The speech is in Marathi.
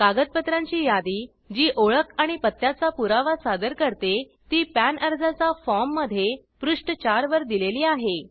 कागदपत्रांची यादी जी ओळख आणि पत्त्याचा पुरावा सादर करते ती पॅन अर्जाचा फॉर्म मध्ये पृष्ठ 4 वर दिलेली आहे